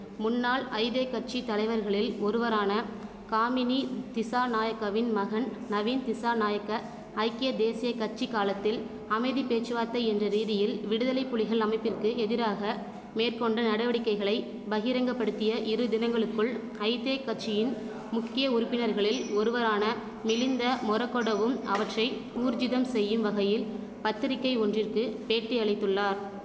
முன்னாள் ஐதெ கட்சி தலைவர்களில் ஒருவரான காமினி திசாநாயக்காவின் மகன் நவீன்திசாநாயக்க ஐக்கிய தேசிய கட்சி காலத்தில் அமைதி பேச்சுவார்த்தை என்ற ரீதியில் விடுதலைப்புலிகள் அமைப்பிற்கு எதிராக மேற்கொண்ட நடவடிக்கைகளை பகிரங்கபடுத்திய இருதினங்களுக்குள் ஐத்தே கட்சியின் முக்கிய உறுப்பினர்களில் ஒருவரான மிலிந்த மொறகொடவும் அவற்றை ஊர்ஜிதம் செய்யும்வகையில் பத்திரிகை ஒன்றிற்கு பேட்டி அளித்துள்ளார்